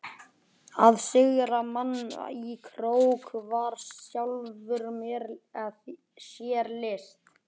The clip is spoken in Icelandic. Að sigra mann í krók var í sjálfu sér list.